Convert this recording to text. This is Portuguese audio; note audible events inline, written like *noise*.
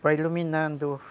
Para *unintelligible* iluminando.